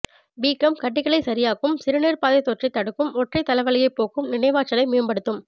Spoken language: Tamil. வீக்கம் கட்டிகளைச் சரியாக்கும் சிறுநீர்ப்பாதை தொற்றைத் தடுக்கும் ஒற்றைத்தலைவலியைப் போக்கும் நினைவாற்றலை மேம்படுத்தும்